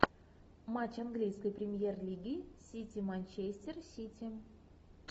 матч английской премьер лиги сити манчестер сити